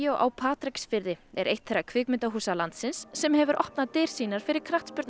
á Patreksfirði er eitt þeirra kvikmyndahúsa landsins sem hefur opnað dyr sínar fyrir